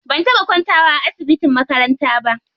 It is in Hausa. Ban taɓa kwantawa a asibitin makaranta ba.